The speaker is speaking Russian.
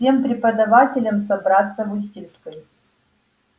всем преподавателям собраться в учительской